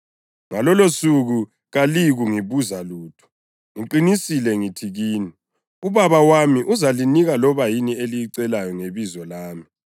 Ngalolosuku kaliyi kungibuza lutho. Ngiqinisile ngithi kini, uBaba wami uzalinika loba yini eliyicela ngebizo lami.